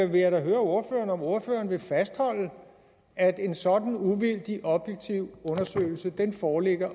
vil jeg da høre ordføreren om ordføreren vil fastholde at en sådan uvildig objektiv undersøgelse foreligger